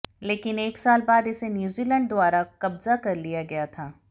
लेकिन एक साल बाद इसे न्यूजीलैंड द्वारा कब्जा कर लिया गया था